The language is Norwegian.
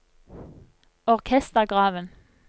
orkestergraven